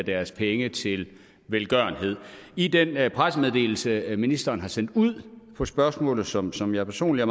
deres penge til velgørenhed i den pressemeddelelse ministeren har sendt ud om spørgsmålet som som jeg personligt